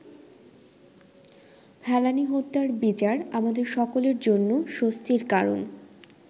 ফেলানী হত্যার বিচার আমাদের সকলের জন্য স্বস্তির কারণ।